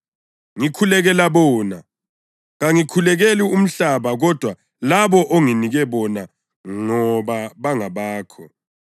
Ngikhulekela bona. Kangikhulekeli umhlaba kodwa labo onginike bona ngoba bangabakho.